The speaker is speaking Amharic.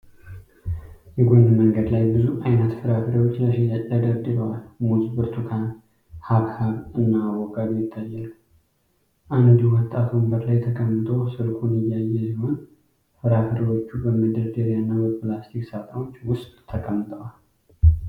የጎን መንገድ ላይ ብዙ አይነት ፍራፍሬዎች ለሽያጭ ተደርድረዋል ፤ ሙዝ ፣ ብርቱካን ፣ ሐብሐብ እና አቮካዶ ይታያሉ። አንድ ወጣት ወንበር ላይ ተቀምጦ ስልኩን እያየ ሲሆን፣ ፍራፍሬዎቹ በመደርደሪያ እና በፕላስቲክ ሳጥኖች ውስጥ ተቀምጠዋል።